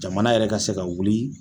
Jamana yɛrɛ ka se ka wuli.